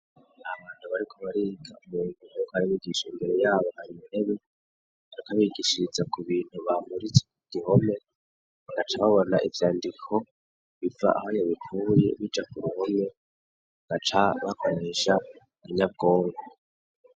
Abantu bariko bariga mu muko ara bigisha imbere yabo hari intebe arikabigishiritsa ku bintu bamuritse ku gihome bagacababona ibyandiko biva ahanebikuryi bica ku ruhome gaca bakoresha inyabwonko